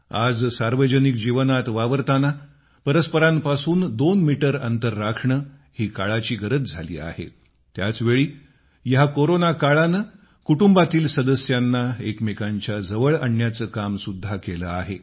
आज सार्वजनिक जीवनात वावरताना परस्परांपासून दोन मीटर अंतर राखणे ही काळाची गरज झाली आहे त्याच वेळी या कोरोना काळाने कुटुंबातील सदस्यांना एकमेकांच्या जवळ आणण्याचे काम सुद्धा केले आहे